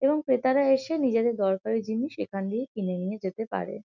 এবং ক্রেতারা এসে নিজেদের দরকারি জিনিস এখান দিয়ে কিনে নিয়ে যেতে পারে।